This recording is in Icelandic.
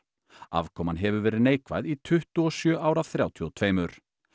afkoman hefur verið neikvæð í tuttugu og sjö ár af þrjátíu og tvö